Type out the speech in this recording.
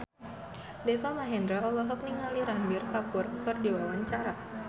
Deva Mahendra olohok ningali Ranbir Kapoor keur diwawancara